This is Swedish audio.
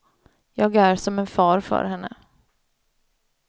Jag är som en far för henne.